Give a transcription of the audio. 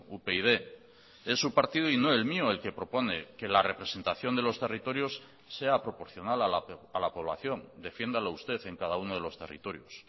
upyd es su partido y no el mío el que propone que la representación de los territorios sea proporcional a la población defiéndalo usted en cada uno de los territorios